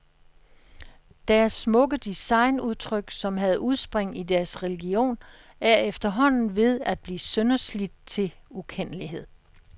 Deres smukke designudtryk, som havde udspring i deres religion, er efterhånden ved at blive sønderslidt til ukendelighed.